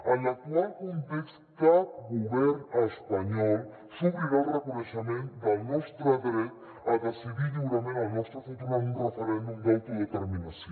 en l’actual context cap govern espanyol s’obrirà al reconeixement del nostre dret a decidir lliurement el nostre futur en un referèndum d’autodeterminació